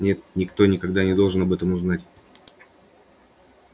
нет никто никогда не должен об этом узнать